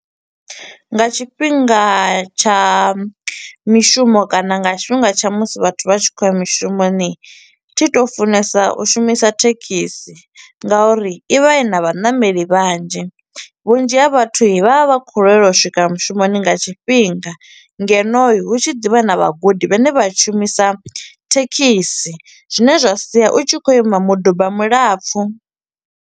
Nga tshifhinga tsha mishumo kana nga tshifhinga tsha musi vhathu vha tshi kho u ya mishumoni, thi to funesa u shumisa thekhisi nga uri i vha i na vhanameli vhanzhi. Vhunzhi ha vhathui vha vha vha kho u lwelwa u swika mushumoni nga tshifhinga, ngeno hu tshi ḓivha na vhagudi vha ne vha shumisa thekhisi, zwine zwa sia u tshi kho u ima miduba milapfu.